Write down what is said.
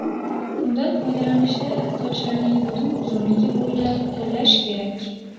Undan foydalanishda sochlarning butun uzunligi bo‘ylab qo‘llash kerak.